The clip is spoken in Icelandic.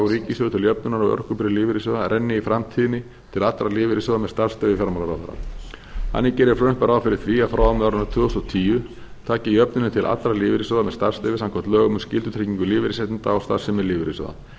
ríkissjóði til jöfnunar á örorkubyrði lífeyrissjóða renni í framtíðinni til allra lífeyrissjóða með starfsleyfi fjármálaráðherra þannig gerir frumvarpið ráð fyrir því að frá og með árinu tvö þúsund og tíu taki jöfnunin til allra lífeyrissjóða með starfsleyfi samkvæmt lögum um skyldutryggingu lífeyrisréttinda og starfsemi lífeyrissjóða